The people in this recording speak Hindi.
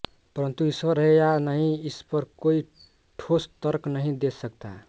परन्तु ईश्वर है या नहीं इस पर कोई ठोस तर्क नहीं दे सकता